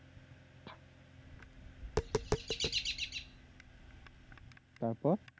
তারপর